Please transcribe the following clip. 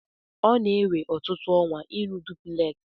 Ọ na-ewe ọtụtụ ọnwa ịrụ dupleksị.